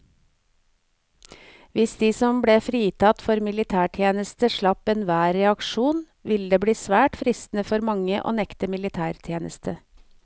Hvis de som ble fritatt for militærtjeneste slapp enhver reaksjon, ville det bli svært fristende for mange å nekte militætjeneste.